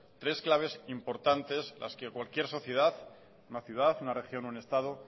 tres claves importantes las que cualquier sociedad una ciudad una región un estado